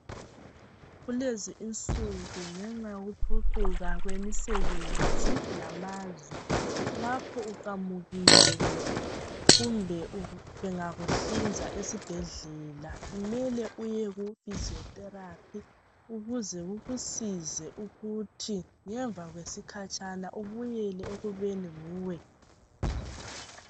Kulezinsuku ngenxa yokuphucuka kwemisebenzi lamazwe lapho uqamukile kumbe bengakuhlinza esibhedlela mele uye ku physio therapy ukuze kukusize ukuthi ngemva kwesikhatshana ubuyele ekubeni nguwe.